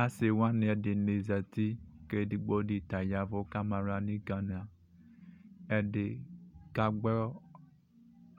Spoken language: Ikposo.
Asi wani ɛdini zati kʋ edigbodi ta ya ɛvʋ kʋ ama aɣla nʋ igana ɛdi ka gbɔ